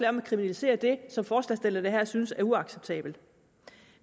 om at kriminalisere det som forslagsstillerne her synes er uacceptabelt